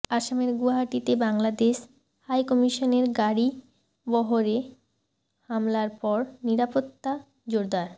আসামের গুয়াহাটিতে বাংলাদেশ হাইকমিশনের গাড়িবহরে হামলার পর নিরাপত্তা জোরদার